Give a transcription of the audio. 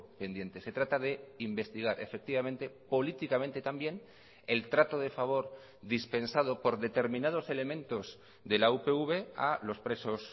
pendiente se trata de investigar efectivamente políticamente también el trato de favor dispensado por determinados elementos de la upv a los presos